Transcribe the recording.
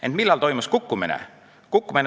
Ent millal toimus kukkumine?